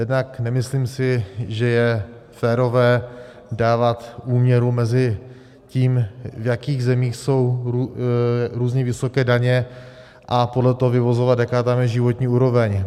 Jednak nemyslím si, že je férové dávat úměru mezi tím, v jakých zemích jsou různě vysoké daně, a podle toho vyvozovat, jaká tam je životní úroveň.